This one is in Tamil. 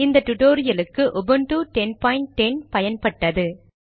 இந்த டுடோரியலுக்கு உபுன்டு 10 10 பயன்பட்டது